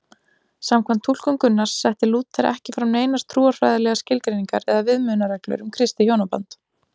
Samkvæmt túlkun Gunnars setti Lúther ekki fram neinar trúfræðilegar skilgreiningar eða viðmiðunarreglur um kristið hjónaband.